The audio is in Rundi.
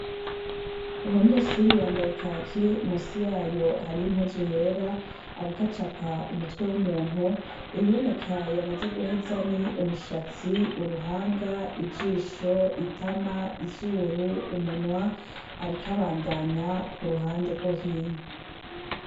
Umunyeshuri yambaye kaki, musi yayo hariyo impuzu yera ariko acapa umutwe w'umuntu, ibiboneka yamaze guheza ni: umushatsi, uruhanga, ijisho, itama, izuru, umunwa, ariko abandanya ku ruhande rwo hino.